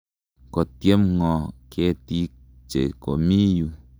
Kotyem ng'o ketiik che komi yu?